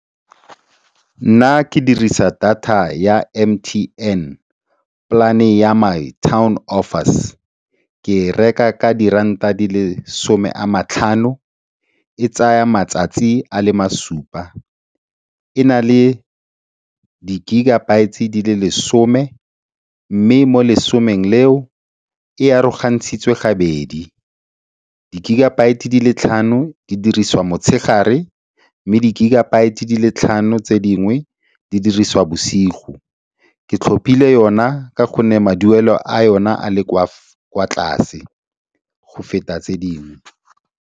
Nna ke dirisa data ya M_T_N, polane ya My Town Offers. Ke reka ka diranta di le some a matlhano, e tsaya matsatsi a le masupa. E na le di-gigabyte di le lesome mme mo lesomeng leo e arogantswe gabedi, di-gigabyte di le tlhano di dirisiwa motshegare mme di-gigabyte di le tlhano tse dingwe, di dirisiwa bosigo. Ke tlhopile yona ka gonne maduelo a yona a le kwa tlase go feta tse dingwe.